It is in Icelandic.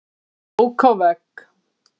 Ók á vegg